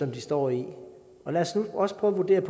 de står i lad os nu også prøve at vurdere